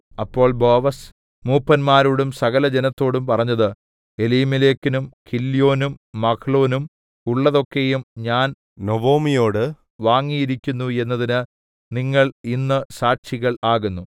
അപ്പോൾ ബോവസ് മൂപ്പന്മാരോടും സകലജനത്തോടും പറഞ്ഞത് എലീമേലെക്കിനും കില്യോന്നും മഹ്ലോനും ഉള്ളതൊക്കെയും ഞാൻ നൊവൊമിയോടു വാങ്ങിയിരിക്കുന്നു എന്നതിന് നിങ്ങൾ ഇന്ന് സാക്ഷികൾ ആകുന്നു